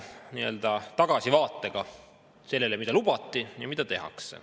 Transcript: Ma jätkan tagasivaadet sellele, mida lubati ja mida tehakse.